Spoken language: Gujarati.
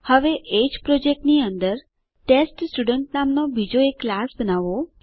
હવે એજ પ્રોજેક્ટની અંદર ટેસ્ટસ્ટુડન્ટ નામનો બીજો એક ક્લાસ બનાવો